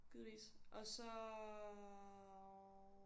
Givetvis. Og så